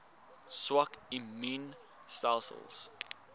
swak immuun stelsels